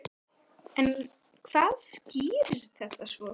En hvað skýrir þetta svo?